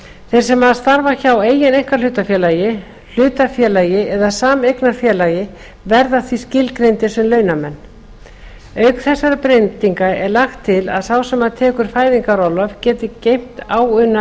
þeir sem starfa hjá eigin einkahlutafélagi hlutafélagi eða sameignarfélagi verða því skilgreindir sem launamenn auk þessara breytinga er lagt til að sá sem tekur fæðingarorlof geti geymt áunna